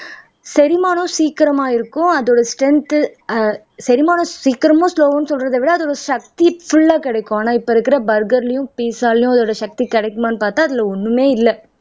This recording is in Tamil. செரிமானம் சீக்கிரமா இருக்கும் அதோட ஸ்ட்ரென்த் ஆஹ் செரிமானம் சீக்கிரமா ஸ்லொவ்ன்னு சொல்றதே விட அதோட சக்தி புல்லா கிடைக்கும் ஆனா இப்ப இருக்கிற பர்கர்லயும் பிட்சாலயும் அதோட சக்தி கிடைக்குமான்னு பார்த்தா அதுல ஒண்ணுமே இல்லை